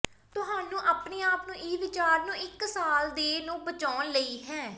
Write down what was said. ਤੁਹਾਨੂੰ ਆਪਣੇ ਆਪ ਨੂੰ ਇਹ ਵਿਚਾਰ ਨੂੰ ਇੱਕ ਸਾਲ ਦੇ ਨੂੰ ਬਚਾਉਣ ਲਈ ਹੈ